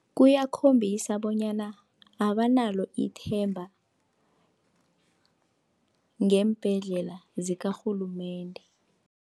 Kuyakhombisa bonyana abanalo ithemba ngeembhedlela zikarhulumende.